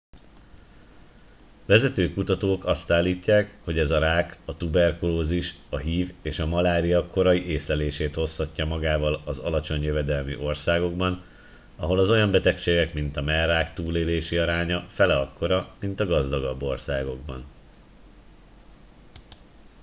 vezető kutatók azt állítják hogy ez a rák a tuberkulózis a hiv és a malária korai észlelését hozhatja magával az alacsony jövedelmű országokban ahol az olyan betegségek mint a mellrák túlélési aránya fele akkora mint a gazdagabb országokban